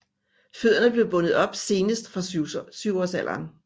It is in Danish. Fødderne blev bundet op senest fra syvårsalderen